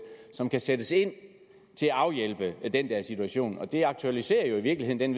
som kan sættes ind til at afhjælpe den der situation og det aktualiserer jo i virkeligheden